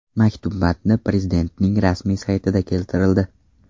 Maktub matni Prezidentning rasmiy saytida keltirildi .